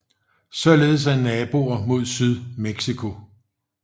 Således er naboen mod syd Mexico